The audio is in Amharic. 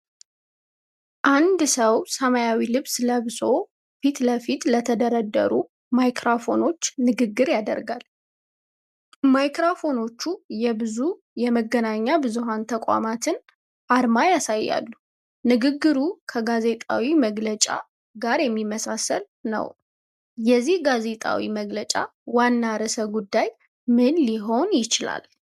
አንድ ሰው ሰማያዊ ልብስ ለብሶ፣ ፊት ለፊት ለተደረደሩ ማይክሮፎኖች ንግግር ያደርጋል። ማይክሮፎኖቹ የብዙ የመገናኛ ብዙሃን ተቋማትን አርማዎች ያሳያሉ። ንግግሩ ከጋዜጣዊ መግለጫ ጋር የሚመሳሰል ነው። የዚህ ጋዜጣዊ መግለጫ ዋና ርዕሰ ጉዳይ ምን ሊሆን ይችላል?